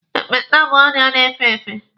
Ekpenta bụ ọrịa na-efe efe.